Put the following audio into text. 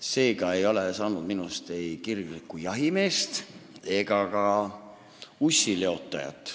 Seega ei ole minust saanud ei kirglikku jahimeest ega ka ussileotajat.